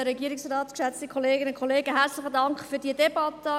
Herzlichen Dank für diese Debatte.